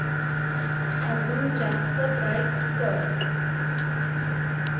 अजून जास्त ब्राईट कर